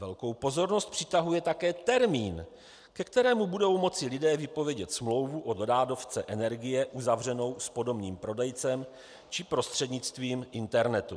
Velkou pozornost přitahuje také termín, ke kterému budou moci lidé vypovědět smlouvu o dodávce energie uzavřenou s podomním prodejcem či prostřednictvím internetu.